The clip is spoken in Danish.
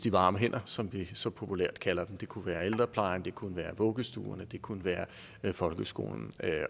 de varme hænder som vi så populært kalder dem det kunne være ældreplejen det kunne være vuggestuerne det kunne være folkeskolen